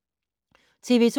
TV 2